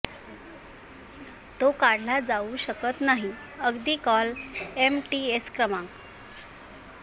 तो काढला जाऊ शकत नाही अगदी कॉल एमटीएस क्रमांक